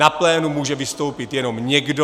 Na plénu může vystoupit jenom někdo.